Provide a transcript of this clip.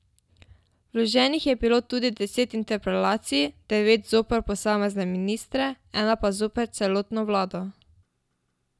Vloženih je bilo tudi deset interpelacij, devet zoper posamezne ministre, ena pa zoper celotno vlado.